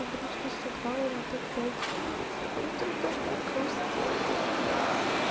грустно сыграла на топ-пять сдулась я про столько многого сделала блять